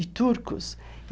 e turcos.